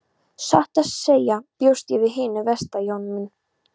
Satt að segja bjóst ég við hinu versta Jón minn.